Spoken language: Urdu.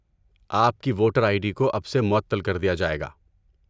آپ کی ووٹر آئی ڈی کو اب سے معطل کر دیا جائے گا۔